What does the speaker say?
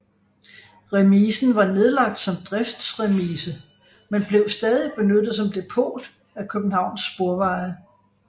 Remisen var nedlagt som driftsremise men blev stadig benyttet som depot af Københavns Sporveje